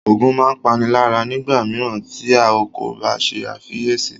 Ògùn máa ń páni lára nígbà mìíràn tí a kò bá ṣe àkíyèsí